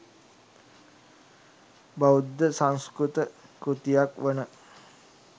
බෞද්ධ සංස්කෘත කෘතියක් වන